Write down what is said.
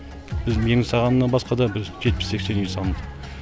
біз менің салғанымнан басқа да жетпіс сексен үй салынды